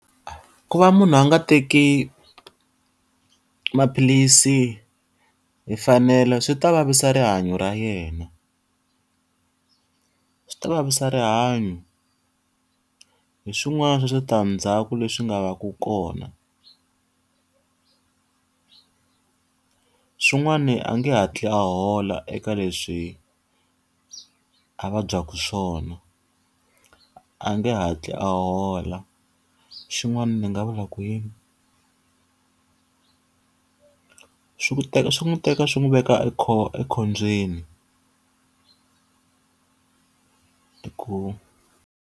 Ku va munhu a nga teki maphilisi hi mfanelo swi ta vavisa rihanyo ra yena. Swi ta vavisa rihanyo. Hi swin'wana swa switandzhaku leswi nga va ku kona. Swin'wani a nge hatli a hola eka leswi a vabyaku swona, a a nge hatli a hola. Xin'wana ni nga vula ku yini? Swi n'wi teka swi n'wi veka ekhombyeni ku.